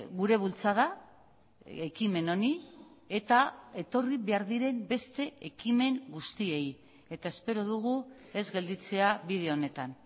gure bultzada ekimen honi eta etorri behar diren beste ekimen guztiei eta espero dugu ez gelditzea bide honetan